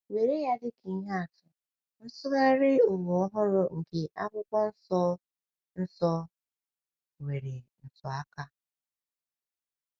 Were ya dịka ihe atụ, Nsụgharị Ụwa Ọhụrụ nke Akwụkwọ Nsọ Nsọ — nwere ntụaka.